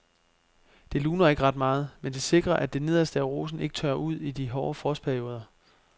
Det luner ikke ret meget, men det sikrer at det nederste af rosen ikke tørrer ud i hårde frostperioder.